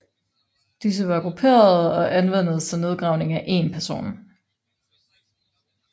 Disse var grupperede og anvendes til nedgravning af én person